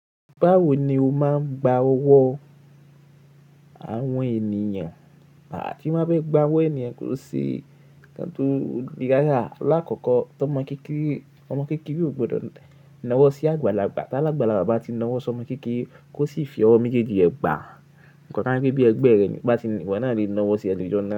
Báwo ni o máa ń gba ọwọ́ àwọn ènìyàn? À ti má bẹ gba ọwọ́ ènìyàn ko se nkan tó le ràrá. Láàkọ́kọ́ tó ọmọ kékeré, ọmọ kékeré ò gbọdọ̀ nawọ́ sí àgbàlagbà. Tálágbalà bá ti nawọ́ sí ọmọ kékeré, kó sì fi ọwọ́ méjèèjì ẹ gbà. Ǹkọ̀ ká bí ẹgbẹ́ rẹ bá ti wà náà lè nawọ́ sí ẹ lójú ọ̀nà.